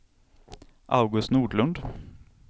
August Nordlund